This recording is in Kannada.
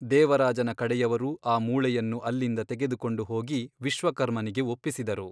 ದೇವರಾಜನ ಕಡೆಯವರು ಆ ಮೂಳೆಯನ್ನು ಅಲ್ಲಿಂದ ತೆಗೆದುಕೊಂಡು ಹೋಗಿ ವಿಶ್ವಕರ್ಮನಿಗೆ ಒಪ್ಪಿಸಿದರು.